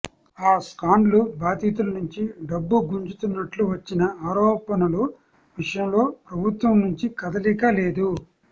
ఆ స్కాడ్లు బాధితులనుంచి డబ్బు గుంజుతున్నట్లు వచ్చిన ఆరోపణల విషయంలో ప్రభుత్వం నుంచి కదలిక లేదు